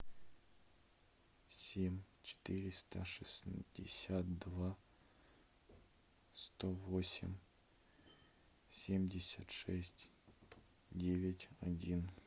семь четыреста шестьдесят два сто восемь семьдесят шесть девять один